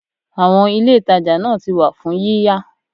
Àwọn Ilé ìtajà náà ti wà fún yíyá.